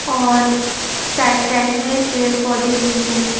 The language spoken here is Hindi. और साइड साइड में पेड़ पौधे भी हैं।